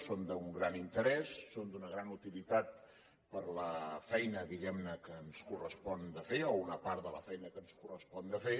són d’un gran interès són d’una gran utilitat per a la feina diguem ne que ens correspon de fer o una part de la feina que ens correspon de fer